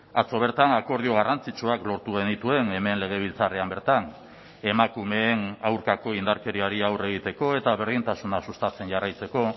atzo bertan akordio garrantzitsuak lortu genituen hemen legebiltzarrean bertan emakumeen aurkako indarkeriari aurre egiteko eta berdintasuna sustatzen jarraitzeko